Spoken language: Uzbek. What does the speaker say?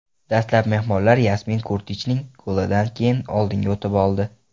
Dastlab mehmonlar Yasmin Kurtichning golidan keyin oldinga o‘tib oldi.